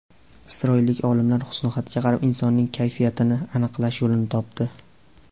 Isroillik olimlar husnixatga qarab insonning kayfiyatini aniqlash yo‘lini topdi.